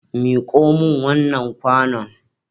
Miko min wannan kwanon.